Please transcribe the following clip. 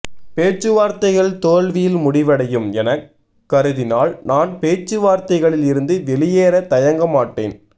பேச்சுவார்த்தைகள் தோல்வியில் முடிவடையும் என கருதினால் நான் பேச்சுவார்த்தைகளில் இருந்து வெளியேற தயங்க மாட்டேன்